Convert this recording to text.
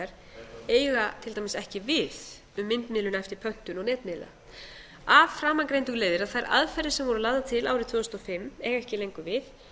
markaðshlutdeildar eiga til dæmis ekki við um myndmiðlun eftir pöntun og netmiðla af framangreindu leiðir að þær aðferðir sem voru lagðar til árið tvö þúsund og fimm eiga ekki lengur við